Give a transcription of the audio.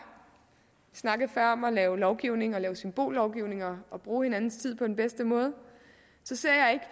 snakkede før om at lave lovgivning og lave symbollovgivning og og bruge hinandens tid på den bedste måde